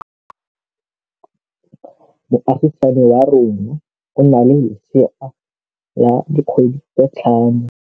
Moagisane wa rona o na le lesea la dikgwedi tse tlhano.